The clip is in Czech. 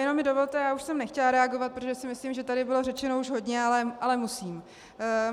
Jenom mi dovolte - já už jsem nechtěla reagovat, protože si myslím, že tady bylo řečeno už hodně, ale musím.